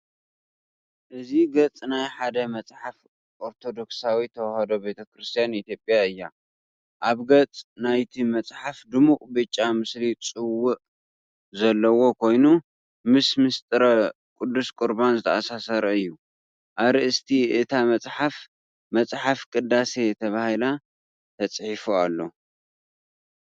እዚ ገጽ ናይ ሓደ መጽሓፍ ኦርቶዶክሳዊት ተዋህዶ ቤተ ክርስቲያን ኢትዮጵያ እዩ። ኣብ ገጽ ናይቲ መጽሓፍ ድሙቕ ብጫ ምስሊ ጽዋእ ዘለዎ ኮይኑ፡ ምስ ምሥጢረ ቅዱስ ቁርባን ዝተኣሳሰር እዩ። ኣርእስቲ እታ መጽሓፍ "መፅሓፍ ቅዳሴ" ተባሂሉ ተጻሒፉ ኣሎ።